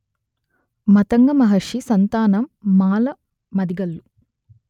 మతంగ మహర్షి సంతానం మాల మాదిగలు